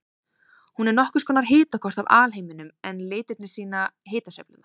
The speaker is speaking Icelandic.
Hún er nokkurs konar hitakort af alheiminum en litirnir sýna hitasveiflurnar.